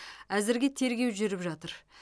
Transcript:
әзірге тергеу жүріп жатыр